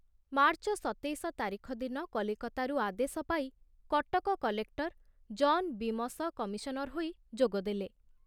March ସତେଇଶ ତାରିଖ ଦିନ କଲିକତାରୁ ଆଦେଶ ପାଇ Cuttack collector John Beames commissioner ହୋଇ ଯୋଗଦେଲେ।